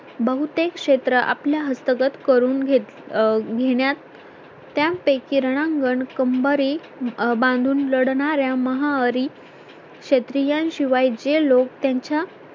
बहुतेक क्षेत्र आपल्या हस्तगत करून घे अं घेण्यात त्यापैकी रणांगण कंबारे बांधून लढणार्‍या महारी क्षेत्रीयाशिवाय जे लोक त्यांच्या